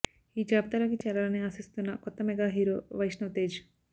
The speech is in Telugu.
ఈ జాబితాలోకి చేరాలని ఆశిస్తున్న కొత్త మెగా హీరో వైష్ణవ్ తేజ్